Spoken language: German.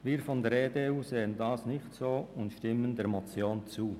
Wir von der EDU sehen das nicht so und stimmen der Motion zu.